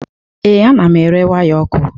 Ee, ana m ere waya ọkụ.